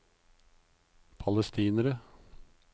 palestinere